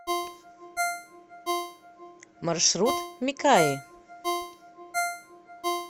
маршрут микаи